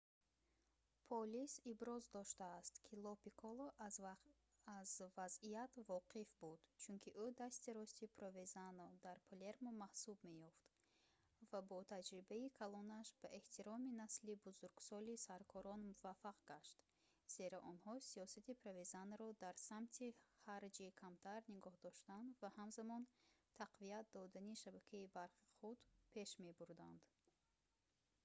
полис иброз доштааст ки ло пикколо аз вазъият воқиф буд чунки ӯ дасти рости провезано дар палермо маҳсуб меёфт ва бо таҷрибаи калонаш ба эҳтироми насли бузургсоли саркорон муваффақ гашт зеро онҳо сиёсати провезаноро дар самти ҳарчи камтар нигоҳ доштан ва ҳамзамон тақвият додани шабакаи барқи худ пеш мебурданд